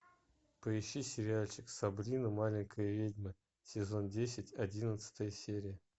поищи сериальчик сабрина маленькая ведьма сезон десять одиннадцатая серия